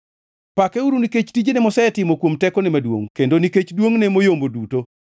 Pakeuru nikech tijene mosetimo kuom tekone maduongʼ; kendo nikech duongʼne moyombo duto.